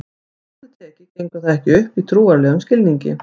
strangt til tekið gengur það ekki upp í trúarlegum skilningi